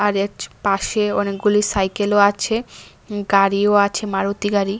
পাশে অনেকগুলি সাইকেলও আছে গাড়িও আছে মারুতি গাড়ি।